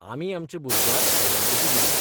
आमी आमच्या भुरग्याक आयडेंटिटी दिल्या.